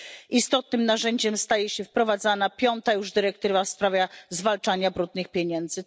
Istotnym narzędziem staje się wprowadzana, piąta już, dyrektywa w sprawie zwalczania brudnych pieniędzy.